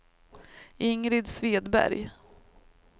Ingrid Svedberg